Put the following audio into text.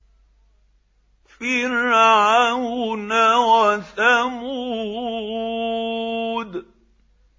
فِرْعَوْنَ وَثَمُودَ